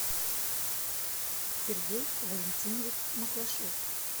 сергей валентинович маклашов